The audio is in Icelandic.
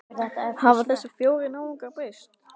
Hafa þessir fjórir náungar breyst?